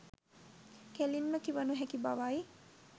කෙළින්ම කිව නොහැකි බවයි.